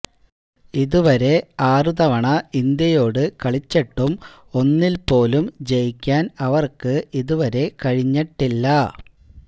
ഇത് വരെ ആറ് തവണ ഇന്ത്യയോട് കളിച്ചിട്ടും ഒന്നില്പോലും ജയിക്കാന് അവര്ക്ക് ഇത് വരെ കഴിഞ്ഞിട്ടില്ല